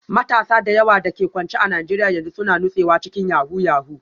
Matasa da yawa da ke kwance a Najeriya yanzu suna nutsewa cikin yahoo yahoo